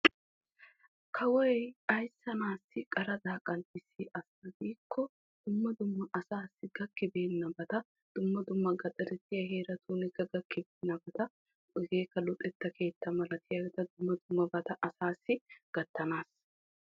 Kawoy asaa naata qaraxxa qanxxissiyo dumma dumma asaassi gakkibeenabatta asaa naatussi gattanaassa.